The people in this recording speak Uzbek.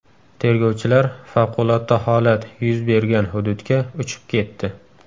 Tergovchilar favqulodda holat yuz bergan hududga uchib ketdi.